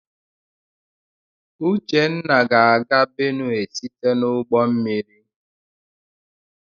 Uchenna ga-aga Benue site n'ụgbọmmiri.